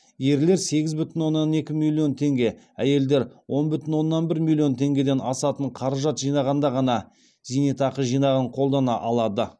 ерлер сегіз бүтін оннан екі миллион теңге әйелдер он бүтін оннан бір миллион теңгеден асатын қаражат жинағанда ғана зейнетақы жинағын қолдана алады